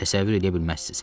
Təsəvvür eləyə bilməzsiz.